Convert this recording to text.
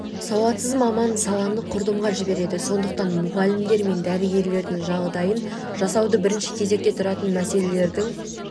сауатсыз маман саланы құрдымға жібереді сондықтан мұғалімдер мен дәрігерлердің жағдайын жасауды бірінші кезекте тұратын мәселелердің